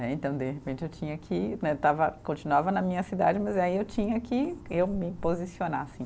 Então, de repente, eu tinha que, né, estava, continuava na minha cidade, mas aí eu tinha que eu me posicionar assim.